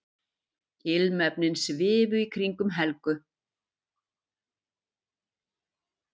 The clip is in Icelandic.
Ilmefnin svifu í kringum Helgu.